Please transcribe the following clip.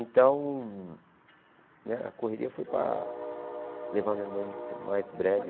Então, né a correria foi para levar minha mãe, o mais breve.